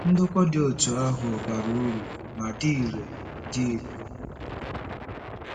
Ndokwa dị otú ahụ bara uru ma dị irè. dị irè.